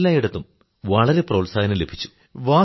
എല്ലായിടത്തും വളരെ പ്രോത്സാഹനം ലഭിച്ചു